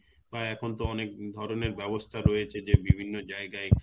বা এখন তো অনেক ধরনের ব্যবস্থা রয়েছে যে বিভিন্ন যায়গায়